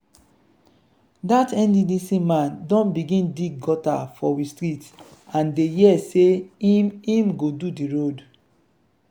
dat nddc man don begin dig gutter for we street and dey hear sey im im go do di road.